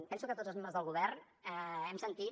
penso que tots els membres del govern hem sentit